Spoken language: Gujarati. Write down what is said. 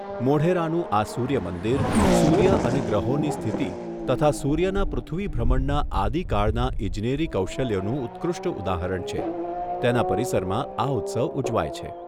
મોઢેરાનું આ સૂર્યમંદિર સૂર્ય અને ગ્રહોની સ્થિતિ તથા સૂર્યના પૃથ્વી ભ્રમણના આદિકાળના ઇજનેરી કૌશલ્યનું ઉત્કૃષ્ટ ઉદાહરણ છે તેના પરિસરમાં આ ઉત્સવ ઉજવાય છે.